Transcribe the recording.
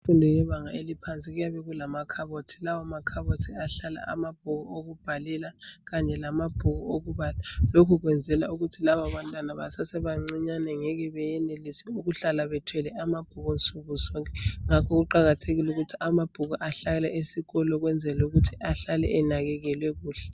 Imfundo yebanga eliphansi kuyabe kulamakhabothi. Lawomakhabothi ahlala amabhuku okubhalela kanye lamabhuku okubala. Lokhu kwenzelwa ukuthi lababantwana basasebancinyane. Bangeke bayenelise ukuhlala bethwele amabhuku insuku zonke. Ngakho kuqakathekile ukuthi amabhuku, ahlale esikolo,. Ukwenzela ukuthi ahlale enakekelwe kuhle.